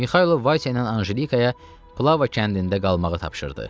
Mixailo Vayse ilə Anjelikaya Plava kəndində qalmağı tapşırdı.